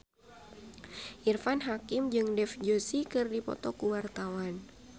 Irfan Hakim jeung Dev Joshi keur dipoto ku wartawan